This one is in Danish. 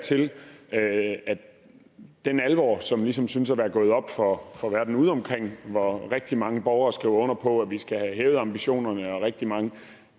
til at den alvor som ligesom synes at være gået op for for verden ude omkring hvor rigtig mange borgere skriver under på at vi skal have hævet ambitionerne og hvor rigtig mange